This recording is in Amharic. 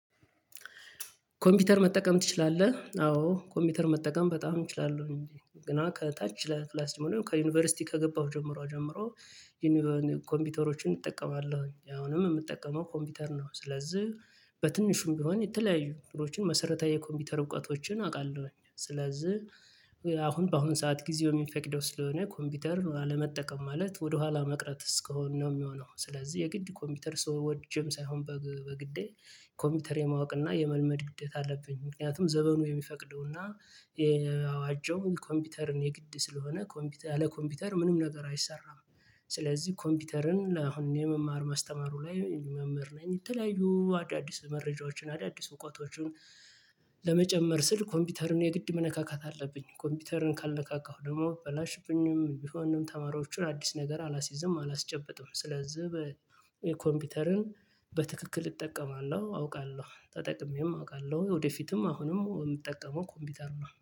ኮምፒውተር መጠቀም ትችላለህ? አዎ ኮምፒውተር መጠቀም በጣም እችላለሁ። እንዴ ገና ከታች ለክላስ ከዩኒቨርሲቲ ከገባሁ ጀምሮ ጀምሮ። ኮምፒውተሮችን እጠቀማለሁ አሁንም የምጠቀመው ኮምፒውተር ነው። ስለዚህ በትንሹም ቢሆን የተለያዩ እንትኖችን መሰረታዊ የኮምፒውተር እውቀቶችን አውቃለሁ። ስለዚህ አሁን በአሁን ሰዓት ጊዜ የሚፈቅደው ስለሆነ ኮምፒውተር አለመጠቀም ማለት ወደኋላ መቅረት እስኮን ነው የሚሆነው። ስለዚህ የግድ ኮምፒውተር ሰው ወጅም ሳይሆን በግዴ ኮምፒውተር የማወቅና የመልመድ ግዴታ አለብኝ። ምክንያቱም ዘበኑ የሚፈቅደውና የአዋጀው ኮምፒውተርን የግድ ስለሆነ ኮምፒውተር ያለ ኮምፒውተር ምንም ነገር አይሰራም። ስለዚህ ኮምፒውተርን አሁን የመማር ማስተማሩ ላይ መምህር ነኝ። የተለያዩ አዳዲስ መረጃዎችን አዳዲስ እውቀቶችን ለመጨመር ስል ኮምፒውተርን የግድ መነካካት አለብኝ። ኮምፒውተርን ካልነካካሁ ደግሞ በላሽብኝም ቢሆንም ተማሪዎችን አዲስ ነገር አላስይዝም አላስጨበጥም። ስለዚህ በ ኮምፒውተርን በትክክል እጠቀማለሁ አውቃለሁ ተጠቅሜም አውቃለሁ ወደፊትም አሁንም በምጠቀመው ኮምፒውተሩ ነው